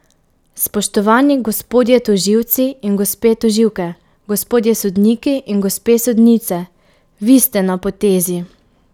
Spoštovani gospodje tožilci in gospe tožilke, gospodje sodniki in gospe sodnice, vi ste na potezi!